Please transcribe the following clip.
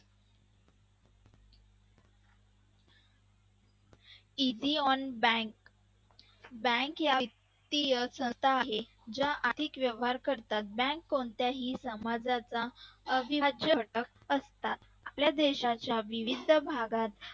easy on bank bank या वित्तीय संस्था आहे ज्या आर्थिक व्यवहार करतात बँक कोणत्याही समाजाचा विभाज्य घटक असतात आपल्या देशाच्या विविध भागात